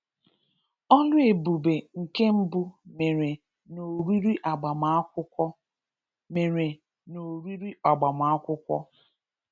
Ọlụ ebube nke mbụ mere n’oriri agbamakwụkwọ. mere n’oriri agbamakwụkwọ.